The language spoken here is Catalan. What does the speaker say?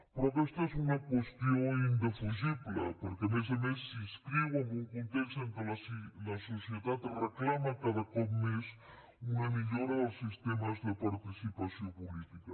però aquesta és una qüestió indefugible perquè a més a més s’inscriu en un context en què la societat reclama cada cop més una millora dels sistemes de participació política